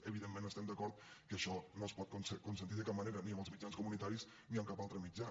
evidentment estem d’acord que això no es pot consentir de cap manera ni en els mitjans comunitaris ni en cap altre mitjà